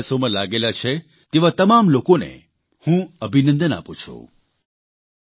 આ પ્રકારના પ્રયાસોમાં લાગેલા છે તેવા તમામ લોકોને હું અભિનંદન આપું છું